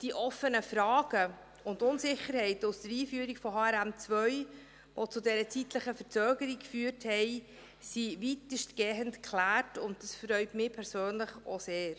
Die offenen Fragen und Unsicherheiten aus der Einführung von HRM2, die zu dieser zeitlichen Verzögerung führten, sind weitestgehend geklärt, und dies freut mich auch persönlich sehr.